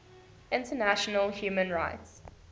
international human rights